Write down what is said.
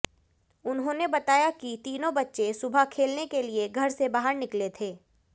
उन्होंने बताया कि तीनों बच्चे सुबह खेलने के लिये घर से बाहर निकले थे